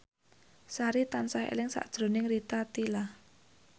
Sari tansah eling sakjroning Rita Tila